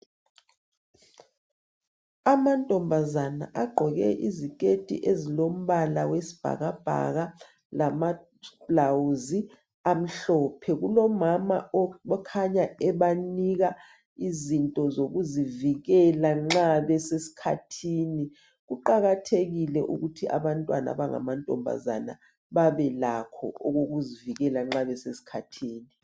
Amantombazana agqoke iziketi ezilo mbala wesibhakabhaka lama blawuzi amhlophe kulo mama okhanya ebanika izinto zokuzivikela nxa besesikhathini kuqakathekile ukuthi abantwana abangamantombazana babe lakho okokuzivikela nxa besesikhathini